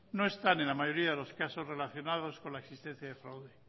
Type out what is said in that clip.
no están en la mayoría de los casos relacionados con la existencia de fraude